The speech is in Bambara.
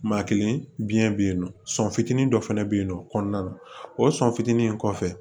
Maa kelen bi biɲɛ be yen nɔ sɔn fitinin dɔ fɛnɛ be yen nɔ kɔnɔna na o sɔn fitinin in kɔfɛ